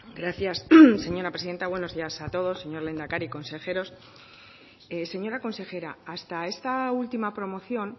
gracias señora presidenta buenos días a todos señor lehendakari consejeros señora consejera hasta esta última promoción